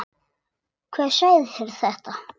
Hver sagði þér þetta?